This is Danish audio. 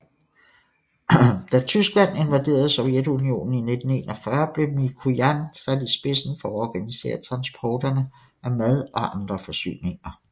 Da Tyskland invaderede Sovjetunionen i 1941 blev Mikojan sat i spidsen for at organisere transporterne af mad og andre forsyninger